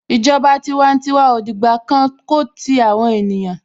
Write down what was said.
Ìjọba tiwantiwa ò dìgbà kan ko ti àwọn ènìyàn.